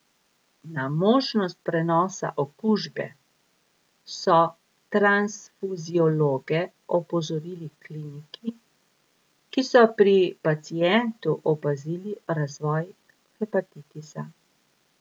Na možnost prenosa okužbe so transfuziologe opozorili kliniki, ki so pri pacientu opazili razvoj hepatitisa.